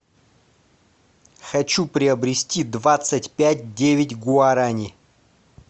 хочу приобрести двадцать пять девять гуарани